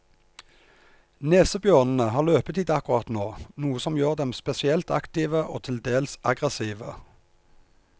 Nesebjørnene har løpetid akkurat nå, noe som gjør dem spesielt aktive og til dels aggressive.